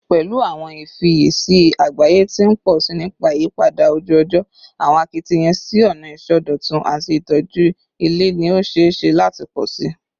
Pẹlu awọn ifiyesi agbaye ti n pọ si nipa iyipada oju-ọjọ, awọn akitiyan si ọna isọdọtun ati itoju ilẹ ni o ṣee ṣe lati pọ si